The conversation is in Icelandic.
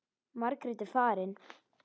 Margrét er farin.